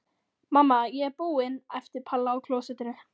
Mamma, ég er búin! æpti Palla á klósettinu.